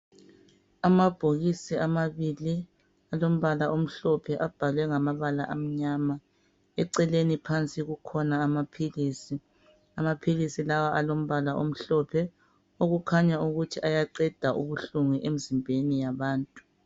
Amabhokisi amabili alombala omhlophe abhalwe ngamabala amnyama. Eceleni phansi kukhona amaphilisi. Amaphilisi la alombala omhlophe okukhanya ukuthi ayaqeda ubuhlungu emzimbeni yabantu.